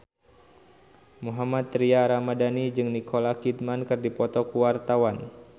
Mohammad Tria Ramadhani jeung Nicole Kidman keur dipoto ku wartawan